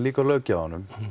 líka að löggjafanum